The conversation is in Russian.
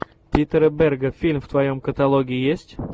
питера берга фильм в твоем каталоге есть